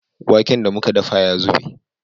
Waken da muka dafa ya zube